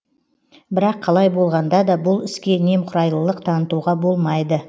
бірақ қалай болғанда да бұл іске немқұрайлылық танытуға болмайды